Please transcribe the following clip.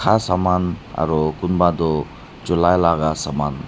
kha saman aru kunba toh chulai laka saman.